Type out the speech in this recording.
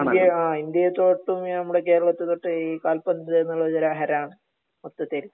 ഇന്ത്യയെ ആഹ് ഇന്ത്യയെ തൊട്ടും നമ്മുടെ കേരളത്തെ തൊട്ടും ഈ കാൽപന്ത് എന്നുള്ളത് ഒരു ഹരാണ് മൊത്തത്തിൽ